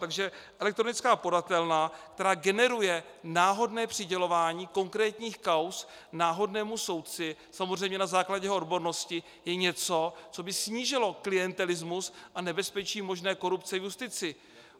Takže elektronická podatelna, která generuje náhodné přidělování konkrétních kauz náhodnému soudci, samozřejmě na základě jeho odbornosti, je něco, co by snížilo klientelismus a nebezpečí možné korupce v justici.